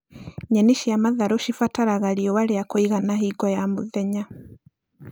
Nyeni cia matharũ cibataraga riũa rĩa kũigana hingo ya mũthenya